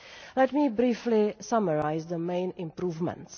Let me briefly summarise the main improvements.